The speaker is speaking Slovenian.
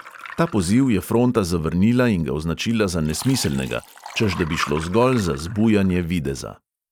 Ta poziv je fronta zavrnila in ga označila za nesmiselnega, češ da bi šlo zgolj za zbujanje videza.